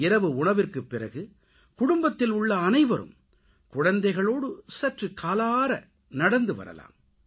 இரவு உணவுக்குப்பிறகு குடும்பத்தில் உள்ள அனைவரும் குழந்தைகளோடு சற்று காலாற நடந்து வரலாம்